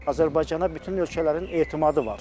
Azərbaycana bütün ölkələrin etimadı var.